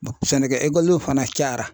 Sɛnɛkɛ ekɔlidenw fana cayara.